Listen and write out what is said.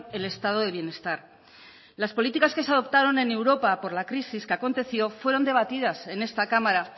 el estado de bienestar las políticas que se adoptaron en europa por la crisis que aconteció fueron debatidas en esta cámara